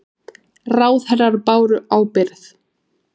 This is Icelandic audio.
Ráðherrar báru ábyrgð